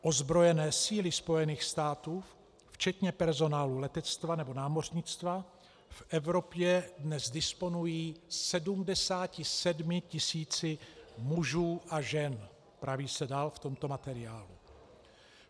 Ozbrojené síly Spojených států včetně personálu letectva nebo námořnictva v Evropě dnes disponují 77 tisíci mužů a žen," praví se dál v tomto materiálu.